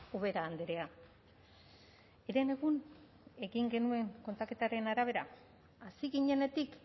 ubera andrea herenegun egin genuen kontaketaren arabera hasi ginenetik